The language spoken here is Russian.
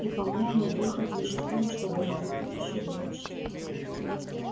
и по-моему выход лишь в том чтобы работать ещё больше